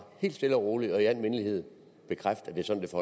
helt stille og roligt og i al mindelighed bekræfte